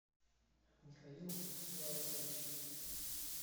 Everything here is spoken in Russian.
михаил славикович